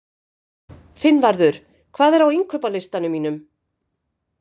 Finnvarður, hvað er á innkaupalistanum mínum?